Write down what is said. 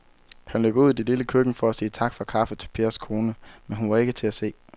Han løb ud i det lille køkken for at sige tak for kaffe til Pers kone, men hun var ikke til at se.